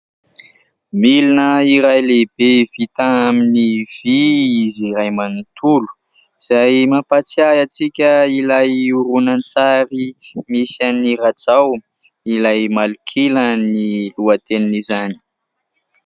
Milina iray lehibe vita amin'ny vy izy iray manontolo, izay mampatsiahy antsika ilay horonantsary nisy an'i Rajao, ilay Malok'ila ny lohatenin'izany.